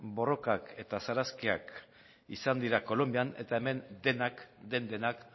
borrokak eta sarraskiak izan dira kolonbian eta hemen den denak